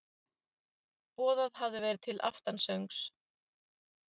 Boðað hafði verið til aftansöngs.